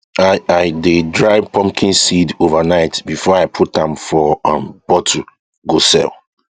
i i dey dry pumpkin seed overnight before i put am for um bottle go sell